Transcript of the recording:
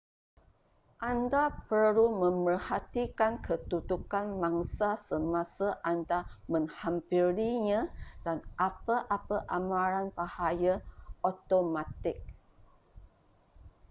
anda perlu memerhatikan kedudukan mangsa semasa anda menghampirinya dan apa-apa amaran bahaya automatik